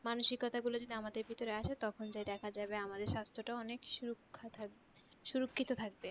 মানসিকতা গুলো যদি আমাদের ভিতরে আসে তখন দেখা যাবে আমাদের স্বাস্থ্যটাও অনেক সুরক্ষ থাকবে সুরক্ষিত থাকবে